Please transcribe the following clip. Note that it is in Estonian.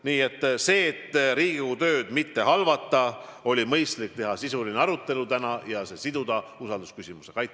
Nii et selleks, et Riigikogu tööd mitte halvata, oli mõistlik teha täna sisuline arutelu ja see siduda usaldusküsimusega.